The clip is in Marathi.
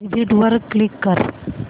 एग्झिट वर क्लिक कर